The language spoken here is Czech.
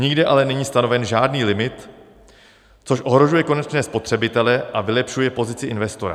Nikde ale není stanoven žádný limit, což ohrožuje konečné spotřebitele a vylepšuje pozici investora.